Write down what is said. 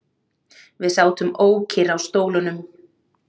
Við sátum ókyrr á stólunum.